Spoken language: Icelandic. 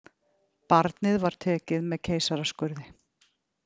Barnið var tekið með keisaraskurði